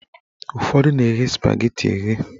Ụfọdụ na-eghe spageti eghe.